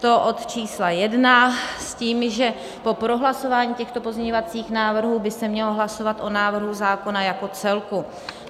To od čísla 1 s tím, že po prohlasování těchto pozměňovacích návrhů by se mělo hlasovat o návrhu zákona jako celku.